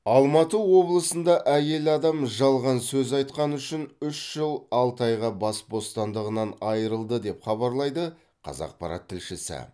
алматы облысында әйел адам жалған сөз айтқаны үшін үш жыл алты айға бас бостандығынан айырылды деп хабарлайды қазақпарат тілшісі